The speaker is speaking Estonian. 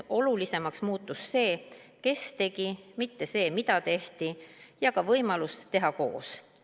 Olulisemaks muutus see, kes tegi, mitte see, mida tehti, ja ka võimalus teha koos.